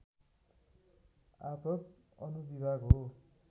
आपद् अनुविभाग हो